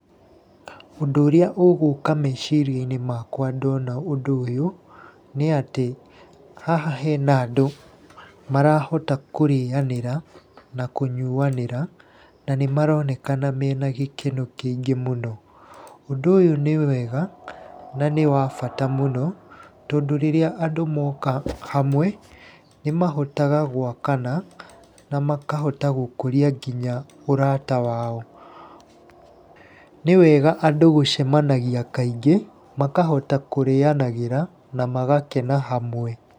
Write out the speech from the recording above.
Ũndũ ũrĩa ũgũka meciria-inĩ makwa ndona ũndũ ũyũ nĩ atĩ haha hena andũ marahota kũrĩanĩra na kũnyuanĩra, na nĩ maronekana mena gikeno kĩingĩ mũno. Ũndũ ũyũ nĩ wega na nĩ wa bata mũno, tondũ rĩrĩa andũ moka hamwe, nĩ mahotaga gwakana na makahota gũkũria nginya ũrata wao. Nĩ wega andũ gũcemanagia kaingĩ makahota kũrĩanagĩra na magakena hamwe.